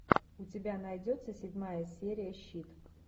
у тебя найдется седьмая серия щит